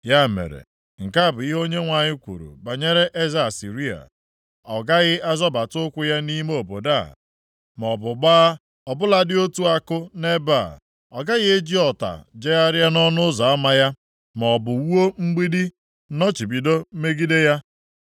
“Ya mere, nke a bụ ihe Onyenwe anyị kwuru banyere eze Asịrịa. “Ọ gaghị azọbata ụkwụ ya nʼime obodo a maọbụ gbaa ọ bụladị otu àkụ nʼebe a. Ọ gaghị eji ọta jegharịa nʼọnụ ụzọ ama ya, maọbụ wuo mgbidi nnọchibido megide ya.